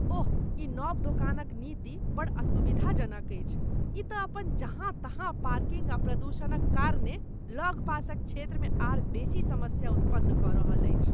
ओह! ई नव दोकान नीति बड्ड असुविधाजनक अछि। ई तँ अपन जहाँ तहाँ पार्किंग आ प्रदूषणक कारणेँ लग पासक क्षेत्रमे आर बेसी समस्या उत्पन्न कऽ रहल अछि।